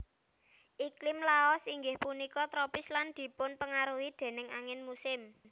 Iklim Laos inggih punika tropis lan dipunpengaruhi déning angin musim